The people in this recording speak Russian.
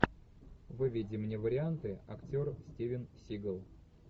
выведи мне варианты актер стивен сигал